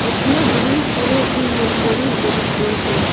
इसमें green colour की mercury लगी हुई है।